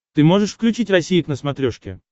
ты можешь включить россия к на смотрешке